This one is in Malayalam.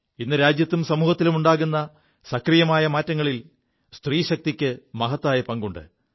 ഇ് രാജ്യത്തും സമൂഹത്തിലും ഉണ്ടാകു സക്രിയമായ മാറ്റങ്ങളിൽ സ്ത്രീശക്തിക്ക് മഹത്തായ പങ്കുണ്ട്